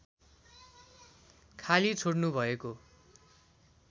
खाली छोड्नु भएको